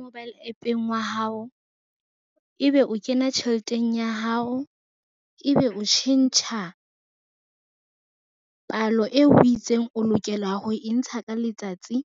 Mobile app-eng wa hao ebe o kena tjheleteng ya hao, ebe o tjhentjha palo eo o itseng o lokela ho e ntsha ka letsatsi.